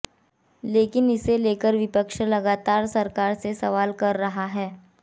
लेकिन इसे लेकर विपक्ष लगातार सरकार से सवाल कर रहा है